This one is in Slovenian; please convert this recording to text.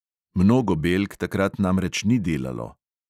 Mnogo belk takrat namreč ni delalo.